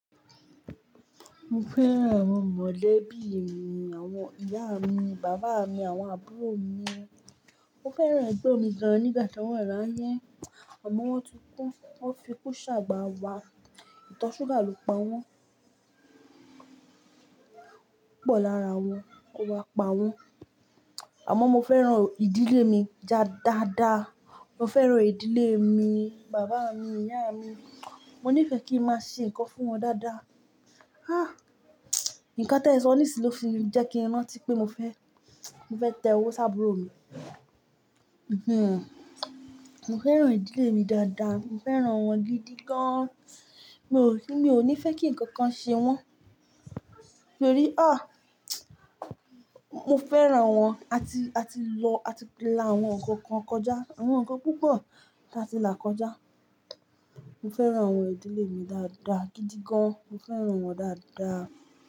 Mo fẹ́ràn àwọn molebii mi, àwọn ìyá mi, bàbá mi, àwọn àbúrò mi. Mo fẹ́ràn ẹgbon mi gan-an nígbà tí wọ́n wà láye àmọ́ wọ́n ti kú. Wọ́n fi kú ṣàgbà wá. Ìtọ̀ ṣúgà ló pa wọ́n Púpọ̀ lára wọn ó wá pa wọ́n. Àmọ́ mo fẹ́ràn ìdílé mi dáadáa. Mo fẹ́ràn ìdílé mi, bàbá mi, ìyá mi. Mo níìfẹ́ kí ń máa ṣe nǹkan fún wọn dáadáa. Há! Ǹkan tẹ́ẹ sọ ní sì ló fi jẹ́ kí n rantí pé mo fẹ́, mo fẹ́ tẹ owó sá'burò mi. Mo fẹ́ràn ìdílé mi dáadáa. Mo fẹ́ràn wọn gidi gan-an. Mi ò ní, mi ò ní fẹ́ kí ǹkan kan ṣe wọ́n. Torí há! Mo fẹ́ràn wọn. A ti, a ti lọ, a ti làwọn ǹkan kan kọjá, àwọn ǹkan púpọ̀ tí a ti là kọjá. Mo fẹ́ràn àwọn ìdílé mi dáadáa gidi gan-an. Mo fẹ́ràn wọn dáadáa.